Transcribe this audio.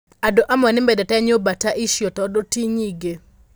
Andũ amwe nĩ mendete nyũmba ta icio tondũ ti nyingĩ.